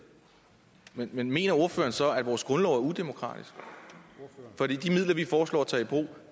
men mener ordføreren så at vores grundlov er udemokratisk for de midler vi foreslår at tage i brug